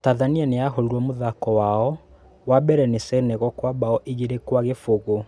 Tathania nĩyahũrirwo mũthako wao wa mbere nĩ Senegal kwa mbao igĩrĩ kwa gĩbũgũ.